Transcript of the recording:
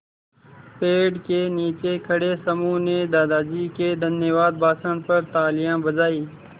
पेड़ के नीचे खड़े समूह ने दादाजी के धन्यवाद भाषण पर तालियाँ बजाईं